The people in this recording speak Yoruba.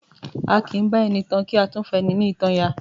A kì í bá ẹni tan ká tún fani nítan ya.